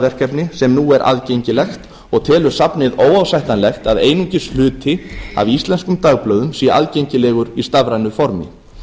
dagblaðaverkefni sem nú er aðgengilegt og telur safnið óásættanlegt að einungis hluti af íslenskum dagblöðum sé aðgengilegur í stafrænu formi